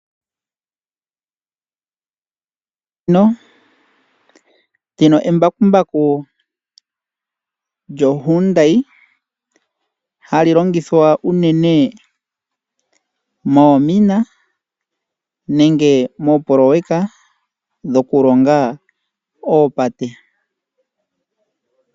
Ndino embakumbaku lyoHyndai hali longithwa unene moomina nenge mooproyeka dhokulonga oopate.